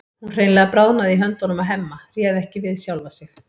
Hún hreinlega bráðnaði í höndunum á Hemma, réð ekki við sjálfa sig.